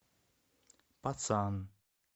пацан